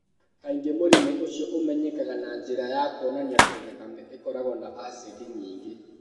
Kaingĩ mũrimũ ũcio ũmenyekaga na njĩra ya kuonania atĩ thakame ĩkoragwo na acidi nyingĩ.